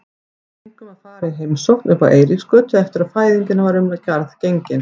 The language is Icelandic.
Við fengum að fara í heimsókn uppá Eiríksgötu eftir að fæðingin var um garð gengin.